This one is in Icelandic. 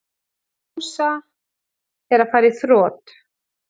Kjósa að fara í þrot